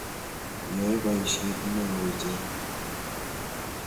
Yae poisyet ne oo icheket.